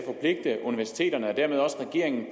at universiteterne og dermed også regeringen